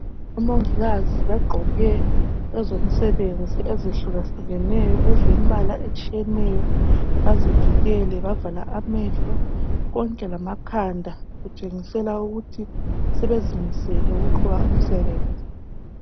Umongikazi bagqoke ezomsebenzi ezihlukehlukeneyo ezilembala etshiyeneyo bazivikele bavala amehlo konke lama khanda kutshengisela ukuthi sebezimisele ukuqhuba umsebenzi